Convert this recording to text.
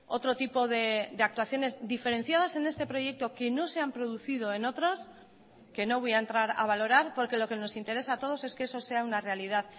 otro tipo de actuaciones diferenciadas en este proyecto que no se han producido en otros que no voy a entrar a valorar porque lo que nos interesa a todos es que eso sea una realidad